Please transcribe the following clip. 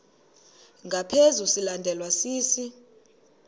ngaphezu silandelwa sisi